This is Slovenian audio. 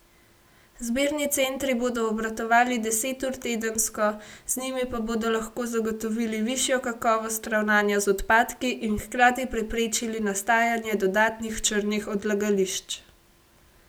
Zbirni centri bodo obratovali deset ur tedensko, z njimi pa bodo lahko zagotovili višjo kakovost ravnanja z odpadki in hkrati preprečili nastajanje dodatnih črnih odlagališč.